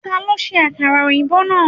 Ta ló ṣe àkàrà òyìnbó náà?.